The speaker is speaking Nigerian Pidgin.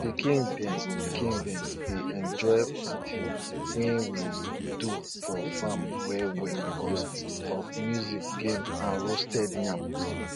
you no fit miss miss di tin you dey use work for farm as far as say you tie thread wey dey color color for di hand.